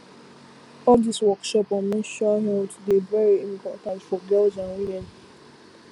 all these workshop on menstrual health dey very important for girls and women